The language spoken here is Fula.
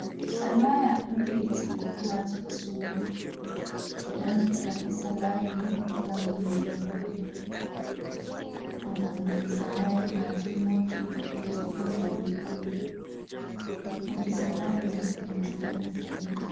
Salaya ɗo ve’iti ha chaka sudu ɓeɗo naftira be salaya ni gam julugo, bo nonde salaya ma jum wodi boɗe jum wodi milikolo wodi salaya marɗum nonde fere-fere.